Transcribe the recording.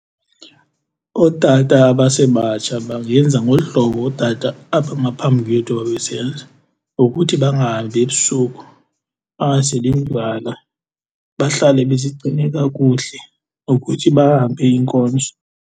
Ootata abasebatsha bangenza ngolu hlobo ootata abangaphambi kwethu babesenza ngokuthi bangahambi ebusuku, bangaseli ndywala, bahlale bezigcine kakuhle, ngokuthi bahambe iinkonzo.